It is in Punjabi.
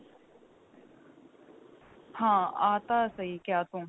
ਹਾਂ ਆਹ ਤਾਂ ਸਹੀ ਕਿਹਾ ਤੂੰ